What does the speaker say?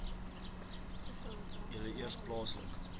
julle eers plaaslik